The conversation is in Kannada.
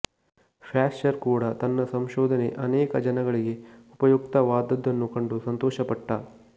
ಪ್ಯಾಶ್ಚರ್ ಕೂಡಾ ತನ್ನ ಸಂಶೋಧನೆ ಅನೇಕ ಜನಗಳಿಗೆ ಉಪಯುಕ್ತವಾದದ್ದನ್ನು ಕಂಡು ಸಂತೋಷಪಟ್ಟ